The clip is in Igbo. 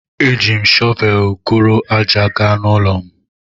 E jim shovelu guru aja gaa na ụlọ'm.